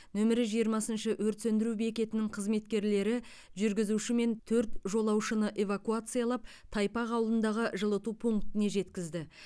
нөмірі жиырмасыншы өрт сөндіру бекетінің қызметкерлері жүргізуші мен төрт жолаушыны эвакуациялап тайпақ ауылындағы жылыту пунктіне жеткізді